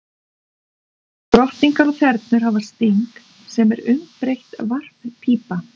Drottningar og þernur hafa sting, sem er umbreytt varppípa.